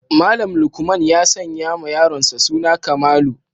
Malam lukman ya sanyawa yaronsa suna kamalu